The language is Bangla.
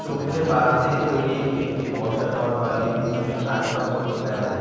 ছবিতে বাঁশ দিয়ে তৈরি একটি বসা ঘর বা লিভিং রুমের আসবাপত্র দেখা যা--